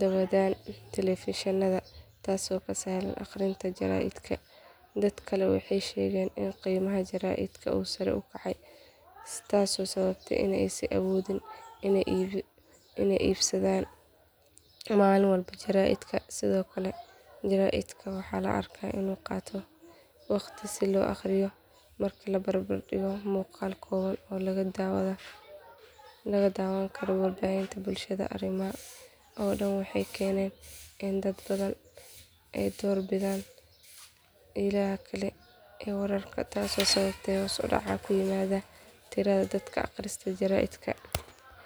daawadaan telefishinada taasoo ka sahlan akhrinta jaraa’idka dad kale waxay sheegeen in qiimaha jaraa’idka uu sare u kacay taasoo sababtay in aysan awoodin inay iibsadaan maalin walba jaraa’idka sidoo kale jaraa’idka waxaa la arkaa inuu qaato waqti si loo akhriyo marka la barbar dhigo muuqaal kooban oo laga daawan karo warbaahinta bulshada arrimahan oo dhan waxay keeneen in dad badan ay door bidaan ilaha kale ee wararka taasoo sababtay hoos u dhac ku yimaada tirada dadka akhrista jaraa’idka.